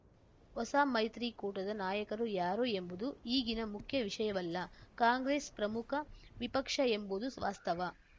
ಹೊಸ ಮೈತ್ರಿಕೂಟದ ನಾಯಕ ಯಾರು ಎಂಬುದು ಈಗಿನ ಮುಖ್ಯ ವಿಷಯವಲ್ಲ ಕಾಂಗ್ರೆಸ್‌ ಪ್ರಮುಖ ವಿಪಕ್ಷ ಎಂಬುದು ವಾಸ್ತವ